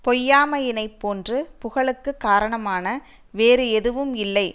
பொய்யாமையினைப் போன்று புகழுக்கு காரணமான வேறு எதுவும் இல்லை